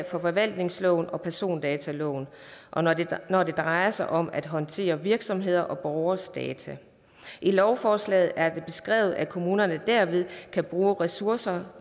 forvaltningsloven og persondataloven når det drejer sig om at håndtere virksomheders og borgeres data i lovforslaget er det beskrevet at kommunerne derved kan bruge ressourcerne